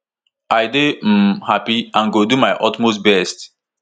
i dey um happy and go do my utmost best